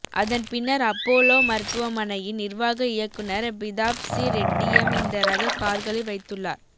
அதன் பின்னர் அப்போலோ மருத்துவமனையின் நிர்வாக இருக்குனர் பிதாப் சி ரெட்டியம் இந்த ரக கார்களை வைத்துள்ளார்